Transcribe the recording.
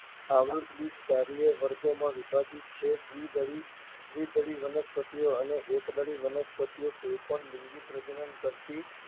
આવૃત્ત બીજધારી બે વર્ગોમાં વિભાજિત છે. દ્વિદળી વનસ્પતિઓ અને એકદળી વનસ્પતિઓ. કોઈ પણ લિંગી પ્રજનન કરતી